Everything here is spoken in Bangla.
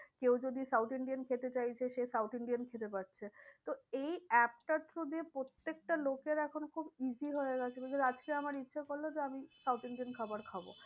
কেউ যদি south indian খেতে চাইছে সে south indian খেতে পাচ্ছে। তো এই app টা through দিয়ে প্রত্যেকটা লোকের এখন খুব easy হয়ে গেছে। আজকে আমার ইচ্ছে করলো যে আমি south indian খাবার খাবো।